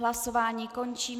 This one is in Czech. Hlasování končím.